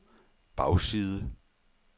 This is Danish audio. bagside